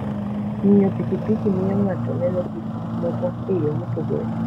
Ng'iyo pikipiki miyo ng'ato neno gik moko e yo mopogore.